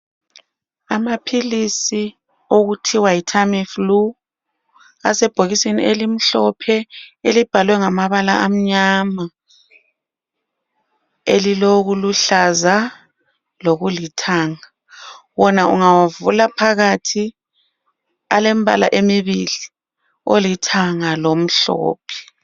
Amaphilisi okuthwa yiTamiflue, asebhokisini elimhlophe elibhalwe ngamabala amnyama elilokuluhlaza lokulithanga. Wona ungawavula phakathi alembala emibili, olithanga lomhlophe